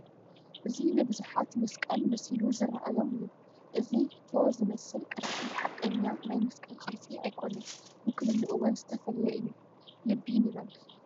እዚ ንብዙሓት መስቀል መሲሉ ዝርአዮም እዩ፡፡ እዚ ቶ ዝመስል ቅርፂ ሓቐኛ ናይ መስቀል ቅርፂ ኣይኮነን፡፡ ውክልንኡ እውን ዝተፈለየ እዩ፡፡ ልቢ ንበል፡፡